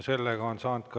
Teie aeg!